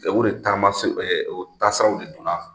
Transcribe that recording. o de taama tasaraw de donna